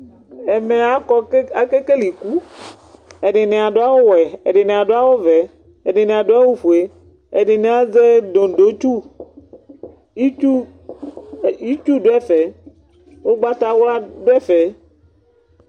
ɛmɛ ɑkɔ kɑkɛkɛlɛ iku ɛdiniɑdu ɑwuwɛ ɛdini ɑdu ɑwuvɛ ɛdini ɑdu ɑwufuɛ ɛdini ɑzɛ dodotsu itsutsuitsu ugbatawla duɛfɛ